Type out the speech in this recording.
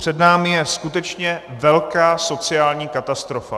Před námi je skutečně velká sociální katastrofa.